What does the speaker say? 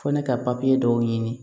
Fɔ ne ka dɔw ɲini